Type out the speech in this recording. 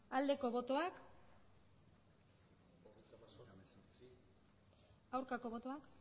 aldeko botoak aurkako botoak